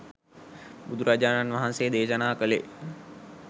බුදුරජාණන් වහන්සේ දේශනාකළේ